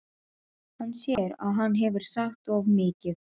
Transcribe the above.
Hann sér að hann hefur sagt of mikið.